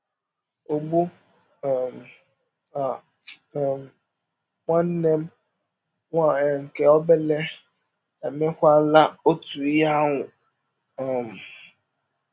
Ụgbụ um a um, nwanne m nwaanyị nke ọbere emewakwala ọtụ ihe ahụ. um